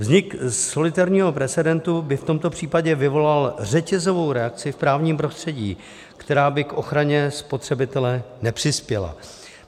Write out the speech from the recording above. Vznik solitérního precedentu by v tomto případě vyvolal řetězovou reakci v právním prostředí, která by k ochraně spotřebitele nepřispěla.